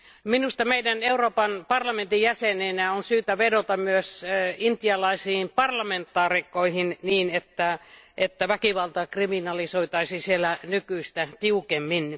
Minusta meidän Euroopan parlamentin jäseninä on syytä vedota myös intialaisiin parlamentaarikkoihin niin, että väkivalta kriminalisoitaisiin siellä nykyistä tiukemmin.